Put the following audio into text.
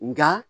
Nga